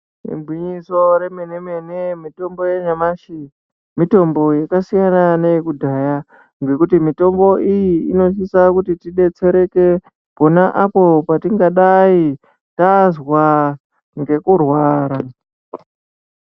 Igwinyiso remene mene mitombo yenyamashi mitombo yakasiyana neyekudhaya ngekuti mitombo iyi inosisa kuti tibetsereke pona apo patingadai tazwa ngekurwara.